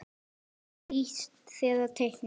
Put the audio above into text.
Flýtir sér að teikna.